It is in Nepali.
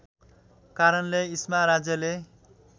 कारणले इस्मा राज्यले